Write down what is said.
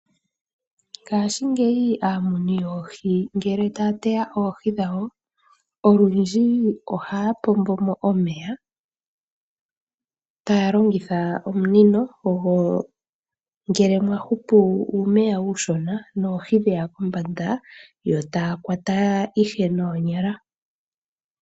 Ngaashingeyi aamuni yoohi ngele taya teya oohi dhawo olundji ohaya pombomo omeya taya longitha omunino go .ngele mwahupu uumeya uushona noohi dheya kombanda yo taya kwata ihe noonyala